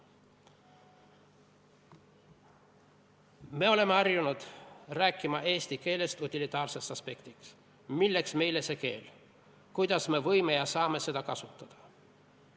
Me oleme harjunud rääkima eesti keelest utilitaarsest aspektist: milleks meile see keel, kuidas me saame seda kasutada?